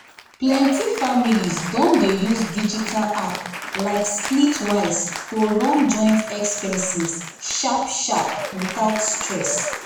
plenty families don dey use digital app like splitwise to run joint expenses sharp-sharp without stress.